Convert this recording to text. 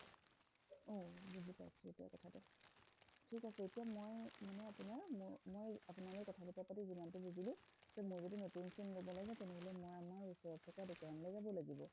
থিক আছে মই মানে আপোনাৰ মই আপোনাৰ লগত কথা পাতি যিমানটো বুজিলো মই যদি নতুন sim লব লাগে তেনেহলে মই আমাৰ ওচৰত থকা দোকানলৈ যাব লাগিব